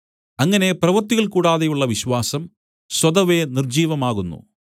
അങ്ങനെ പ്രവൃത്തികൾ കൂടാതെയുള്ള വിശ്വാസം സ്വതവേ നിർജ്ജീവമാകുന്നു